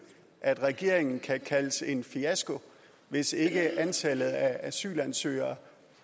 at regeringen kan kaldes en fiasko hvis ikke antallet af asylansøgere